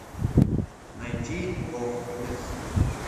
найти лохнесс